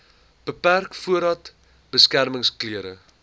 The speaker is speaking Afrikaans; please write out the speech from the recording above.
beperk voordat beskermingsklere